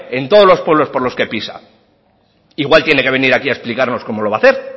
en todos los pueblos por lo que pisa igual tiene que venir aquí a explicarnos cómo lo va a hacer